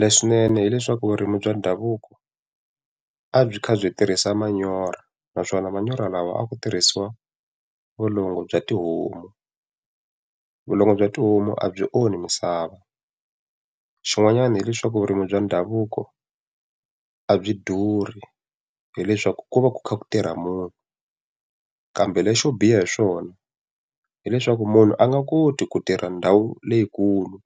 Leswinene hileswaku vurimi bya ndhavuko a byi kha byi tirhisa manyoro, naswona manyoro lawa a ku tirhisiwa vulongo bya tihomu. Vulongo bya tihomu a byi onhi misava. Xin'wanyana hileswaku vurimi bya ndhavuko a byi durhi, hileswaku ku va ku kha ku tirha munhu. Kambe lexo biha hi swona hileswaku munhu a nga koti ku tirha na ndhawu leyikulu,